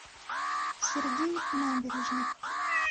сергей набережных